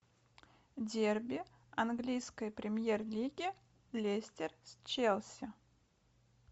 дерби английской премьер лиги лестер с челси